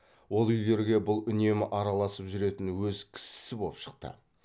ол үйлерге бұл үнемі араласып жүретін өз кісісі боп шықты